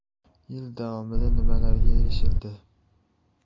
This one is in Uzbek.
Yil davomida nimalarga erishildi?